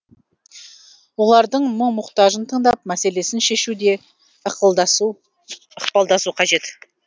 олардың мұң мұқтажын тыңдап мәселесін шешуде ықпалдасу қажет